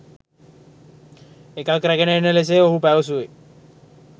එකක් රැගෙන එන ලෙසය ඔහු පැවසුවේ